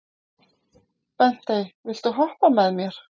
Bentey, viltu hoppa með mér?